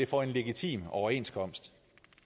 for en legitim overenskomst